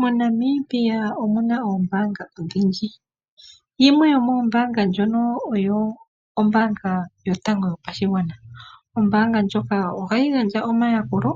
MoNamibia omu na oombaanga odhindji. Yimwe yomoombaanga ndhono oyo ombaanga yotango yoshigwana. Ombaanga ndjoka ohayi gandja omayakulo